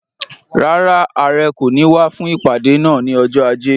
Rárá, Àrẹ kò ní wá fún ìpàdé náà ni ọjọ́ ajé.